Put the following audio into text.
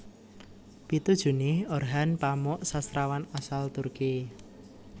Pitu Juni Orhan Pamuk sastrawan asal Turki